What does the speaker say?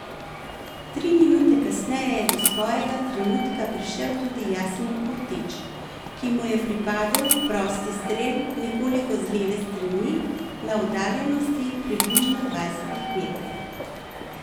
Tri minute kasneje je do svojega trenutka prišel tudi Jasmin Kurtić, ki mu je pripadel prosti strel nekoliko z leve strani na oddaljenosti približno dvajsetih metrov.